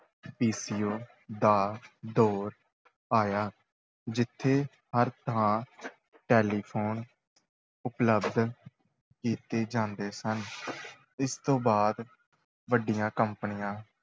PCO ਦਾ ਦੌਰ ਆਇਆ, ਜਿੱਥੇ ਹਰ ਥਾਂ ਟੈਲੀਫੋਨ ਉਪਲਬਧ ਕੀਤੇ ਜਾਂਦੇ ਸਨ ਇਸ ਤੋਂ ਬਾਅਦ ਵੱਡੀਆਂ ਕੰਪਨੀਆਂ